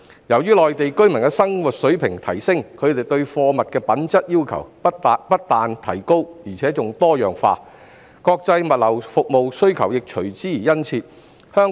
因應內地居民的生活水平提升，他們對貨物品質的要求較高而且多樣化，國際物流服務需求亦隨之變得殷切。